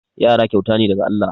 Yara kyauta ne daga Allah.